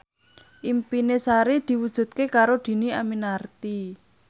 impine Sari diwujudke karo Dhini Aminarti